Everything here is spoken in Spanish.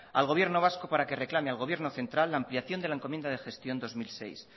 al gobierno vasca para que reclame al gobierno central la ampliación de la encomienda de gestión dos mil seis